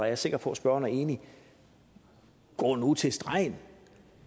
jeg sikker på at spørgeren er enig i gå nu til stregen